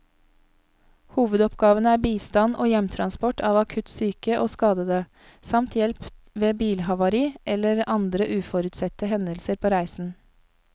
Hovedoppgavene er bistand og hjemtransport av akutt syke og skadede, samt hjelp ved bilhavari eller andre uforutsette hendelser på reisen.